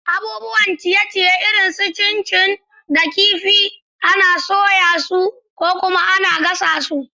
Abubuwan ciye-ciye irin su chin chin da kifi kifi ana soya su gabaɗaya ko kuma ana gasa su.